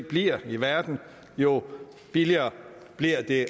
bliver i verden jo billigere bliver det